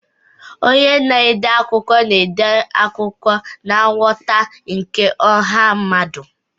Onye na-ede akụkọ na-ede akụkọ na nghọta nke ọha mmadụ.